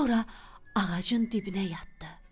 Sonra ağacın dibinə yatdı.